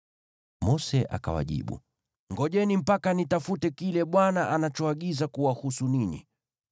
Mose akawajibu, “Ngojeni mpaka nitafute kile Bwana anachoagiza kuwahusu ninyi.”